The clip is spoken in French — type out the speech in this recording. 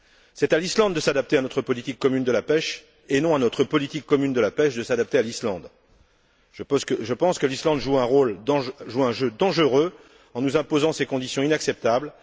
C'est à l'Islande de s'adapter à notre politique commune de la pêche, et non à notre politique commune de la pêche de s'adapter à l'Islande. Je pense que l'Islande joue un jeu dangereux en nous imposant ces conditions inacceptables.